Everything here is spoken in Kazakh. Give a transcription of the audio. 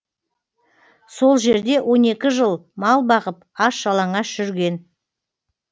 сол жерде он екі жыл мал бағып аш жалаңаш жүрген